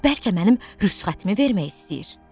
Bəlkə mənim rüsxətimi vermək istəyir.